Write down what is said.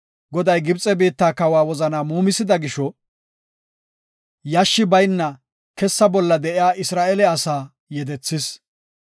Goday Gibxe biitta kawa wozana muumisida gisho yashshi bayna kessa bolla de7iya Isra7eele asaa yedethis.